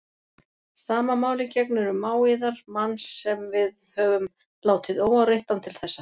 Sama máli gegnir um mág yðar, mann sem við höfum látið óáreittan til þessa.